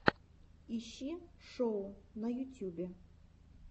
ищи шоу на ютюбе